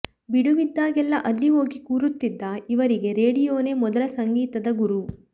ಬಿಡುವಿದ್ದಾಗೆಲ್ಲ ಅಲ್ಲಿ ಹೋಗಿ ಕೂರುತ್ತಿದ್ದ ಇವರಿಗೆ ರೇಡಿಯೊನೇ ಮೊದಲ ಸಂಗೀತದ ಗುರು